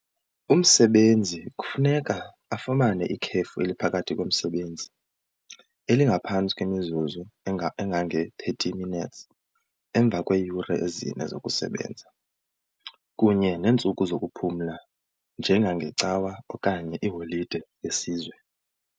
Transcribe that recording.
Umsebenzi kufuneka afumane ikhefu eliphakathi komsebenzi elingaphantsi kwemizuzu engange-thirty minutes emva kweeyure ezine zokusebenza, kunye neentsuku zokuphumla njengangeCawa okanye iiholide yesizwe.